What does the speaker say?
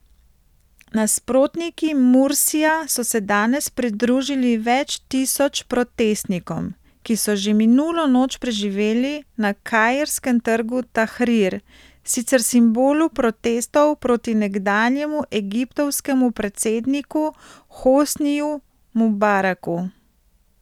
Nasprotniki Mursija so se danes pridružili več tisoč protestnikom, ki so že minulo noč preživeli na kairskem trgu Tahrir, sicer simbolu protestov proti nekdanjemu egiptovskemu predsedniku Hosniju Mubaraku.